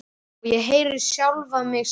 Og ég heyri sjálfa mig segja